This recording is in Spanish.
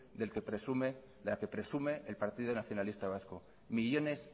de la que presume el partido nacionalista vasco millones